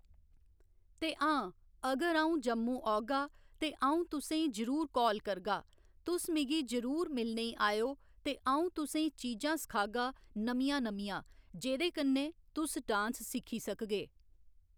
ते आं अगर अ'ऊं जम्मू औगा ते अ'ऊं तु'सेंई जरूर कॉल करगा तु'स मिगी जरूर मिलने'ई आएओ ते अ'ऊं तु'सेंई चीजां सखागा नमियां नमियां जेह्कन्नै तु'स डांस सिक्खी सकगे।